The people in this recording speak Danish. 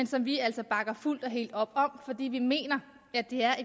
som vi altså bakker fuldt og helt op om fordi vi mener at det er